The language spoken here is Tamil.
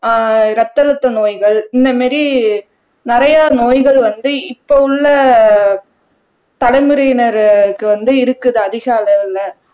ஆஹ் ரத்த அழுத்த நோய்கள் இந்த மாதிரி நிறைய நோய்கள் வந்து இப்போ உள்ள தலைமுறையினருக்கு வந்து இருக்குது அதிக அளவுல